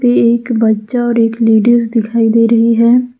एक बच्चा और एक लेडिस दिखाई दे रही है।